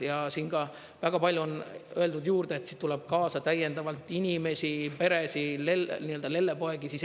Ja siin ka väga palju on öeldud juurde, et siit tuleb kaasa täiendavalt inimesi, peresid, nii-öelda lellepoegi.